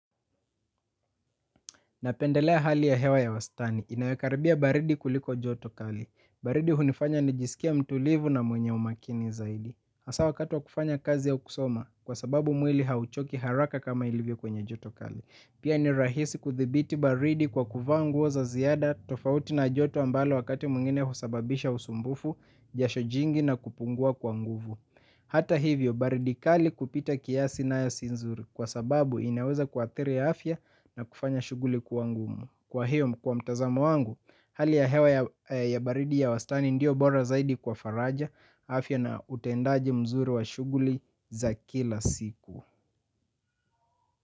Napendelea hali ya hewa ya wastani. Inayokaribia baridi kuliko joto kali. Baridi hunifanya nijisikie mtulivu na mwenye umakini zaidi. Hasa wakati wa kufanya kazi ya kusoma kwa sababu mwili hauchoki haraka kama ilivyo kwenye joto kali. Pia ni rahisi kuthibiti baridi kwa kuvaa nguo za ziada tofauti na joto ambalo wakati mwingine husababisha usumbufu, jasho jingi na kupungua kwa nguvu. Hata hivyo baridi kali kupita kiasi nayo si nzuri kwa sababu inaweza kuathiri afya na kufanya shughuli kuwa ngumu. Kwa hiyo kwa mtazamo wangu hali ya hewa ya baridi ya wastani ndiyo bora zaidi kwa faraja afya na utendaji mzuri wa shughuli za kila siku.